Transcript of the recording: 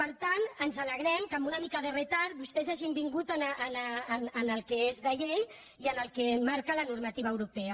per tant ens alegrem que amb una mica de retard vostès hagin vingut al que és de llei i al que marca la normativa europea